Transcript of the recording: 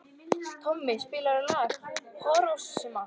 Tommi, spilaðu lagið „Hiroshima“.